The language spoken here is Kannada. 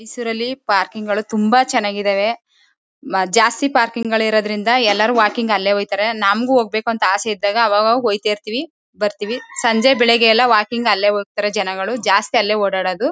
ಮೈಸೂರ್ ಅಲ್ಲಿ ಪಾರ್ಕಿಂಗ್ ಗಳು ತುಂಬಾ ಚನ್ನಾಗಿದವೇ ಮ ಜಾಸ್ತಿ ಪಾರ್ಕಿಂಗ್ ಗಳಿರೋದ್ರಿಂದ ಎಲ್ಲರು ವಾಕಿಂಗ್ ಅಲ್ಲೇ ಹೊಯ್ತಾರೆ ನಂಗೂ ಹೋಗ್ಬೇಕು ಅಂತ ಆಸೆ ಇದ್ದಾಗ ಅವಾಗ್ ಅವಾಗ್ ಹೋಯ್ತಾ ಇರ್ತೀವಿ ಬತ್ತೀವಿ ಸಂಜೆ ಬೆಳಿಗ್ಗೆ ಎಲ್ಲ ವಾಕಿಂಗ್ ಅಲ್ಲೇ ಹೋಗ್ತಾರೆ ಜನಗಳು ಜಾಸ್ತಿ ಅಲ್ಲೇ ಓಡ್ ಆಡದು